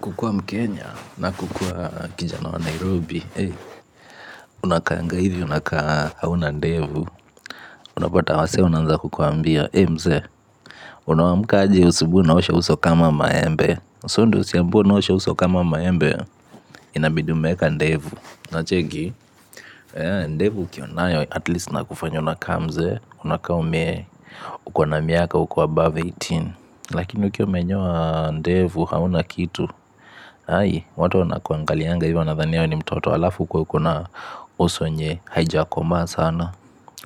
Kukua mkenya na kukua kijana wa nairobi unakaanga hivi unakaa hauna ndevu unapata wasee wanaanza kukuambia unaanka aje asubuhi unaosha uso kama maembe so ndo usiambiwe unaosha uso kama maembe inabidi umeeka ndevu ndevu ukiwa nayo atleast inakufanya unakaa mzee unakaa uko na miaka uko above eighteen lakini ukiwa umenyoa ndevu hauna kitu ai, watu wanakuangalianga hivyo wanadhania wewe ni mtoto. Alafu ukuwe uko na uso yenye haijakomaa sana.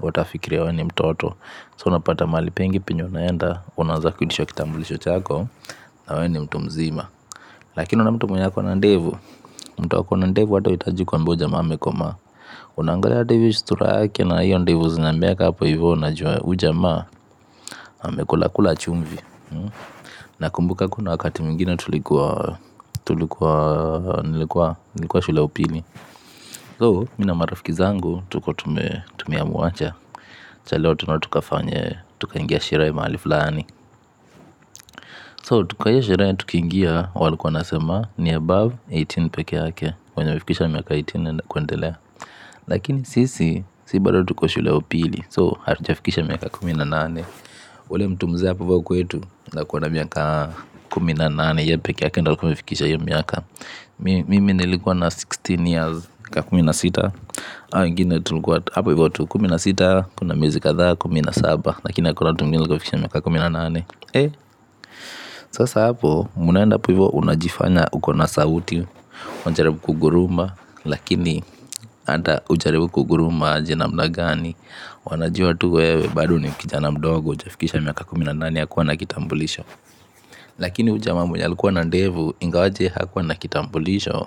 Watafikiria wewe ni mtoto So unapata mahali pengi penye unaenda. Unanzaa kuitishwa kitambulisho chako na wewe ni mtu mzima. Akini unaona mtu mwenye ako na ndevu mtu ako na ndevu ata huhitaji kuambiwa huyu jamaa amekomaa. Unangalia ndevu sura yake na hiyo ndevu zinameanga hapo hivyo unajua huyu jamaan amekula kula chumvi na kumbuka kuna wakati mingwinen tulikuwa nilikuwa shule ya upili thou mimi marafiki zangu tulikuwa tumeamua acha leo twende tukafanye fanye, tukaingia sherehe mahali fulani So kwa hiyo sherehe tukingia walikuwa wanasema ni above kumi na nane peke yake, wenye wamefikisha miaka kumi na nane kuendelea. Lakini sisi, sisi bado tuko shule ya upili So hatuafiksha kumi na kumi na nane. Ule mtu mzee hapo ivo kwetu ako na miaka kumi na nane yeye peke yake ndio alikuwa amefikisha hiyo miaka. Mimi nilikuwa na kumi na sita years kakumi na sita. Hawa wengine tulikuwa hapo ivo kumi na sita. Kumi miezi kadhaa kuminnansaba. Lakini hakuna mtu mwingine alikuwa amefikisha miaka kumi a nane sasa hapo hapo mnaenda hapo hivo unajifanya uko na sauti. Wajaribu kuguruma. Lakini ata ujaribu kuguruma aje nmnagani. Wanajua tu wewe bado ni kijana mdogo hujafikisha miaka kumi na nane ya kuwa na kitambulisho. Lakini huyu jamaamamu ya likuwa na ndevu ingawaje hakuwa na kitambulisho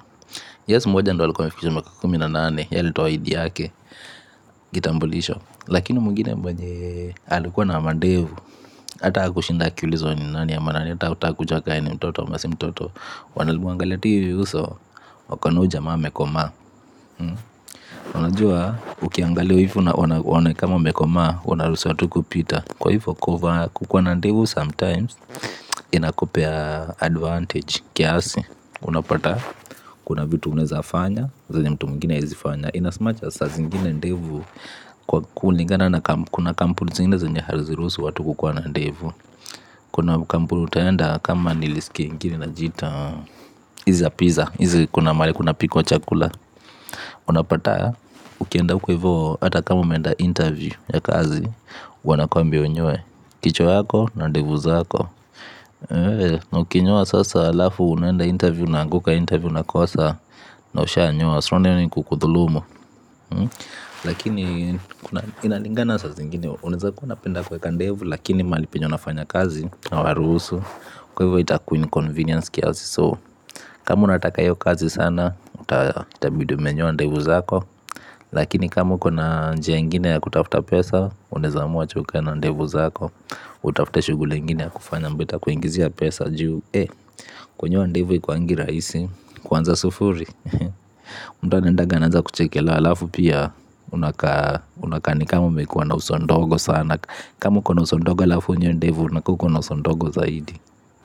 Yes mmoja ndo alikuwa amefikisha miaka kumi nane yeye alitoa id yake, Kitambulisho Lakini mwingine mwenye alikuwa na mandevu. Hata hakushinda akiulizwa ni nani ama nani ata hawakutaka yeye ni mtoto ama si mtoto. Walimwangalia tu hivi uso wakaona huyu jamaa amekomaa. Unajua ukiangalia ivi waone kama umekomaa unaruhusiwa tu kupita kwa hivyo kukua na ndevu sometimes inakupea advantage kiasi. Unapata kuna vitu unaeza fanya zenye mtu mwingine haezi fanya ina as much as saa zingine ndevu kuna kampuni zingine zenye haziruhusu watu kukua na ndevu. Kuna kampuni utaenda kama nilisikia ingine inajiita hizi za piza, hizi kuna mahali kuna mahali kunapikwa chakula. Unapata ukienda uko hivo hata kama umeenda interview ya kazi wanakwambia unyoe kichwa yako na ndevu zako. A ukinyoa sasa halafu unaenda interview unaanguka interview unakosa na ushaa nyoa. Si unaona hiyo ni kukudhulumu. Lakini inalingana saa zingine. Unaeza kuwa unapenda kuweka ndevu. Lakini mahali penye unafanya kazi hawaruhusu kwa hivyo itakuwa inconvenience kiasi So kama unataka hiyo kazi sana. Itabidin umenyoa ndevu zako. Lakini kama uko na njia ingine ya kutafuta pesa unaeza amua acha ukae na ndevu zako utafute shughuli ingine ya kufanya yenye itakuingizia pesa juu kunyoa ndevu haikuangi rahisi kuanzia sufuri mtu anaendanga anaanza kuchekelewa halafu pia unakaa unakaa ni kama umekuwa na uso ndogo sana kama uko na uso ndogo alafu unyoe ndevu unakaa uko na uso ndogo zaidi.